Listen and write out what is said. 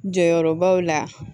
Jɔyɔrɔbaw la